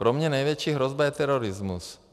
Pro mě největší hrozba je terorismus.